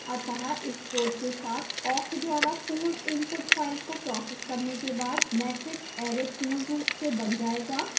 अतः इस code के साथ awk द्वारा पूर्ण input file को processed करने के बाद matrix array पूर्ण रूप से बन जायेगा